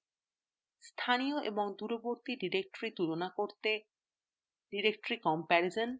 স্থানীয় এবং দূরবর্তী directory তুলনা করতে directory comparison